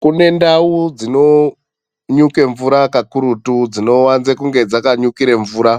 Kune ndau dzinonyuke mvura kakurutu dzinowanze kunge dzakanyukire mvura.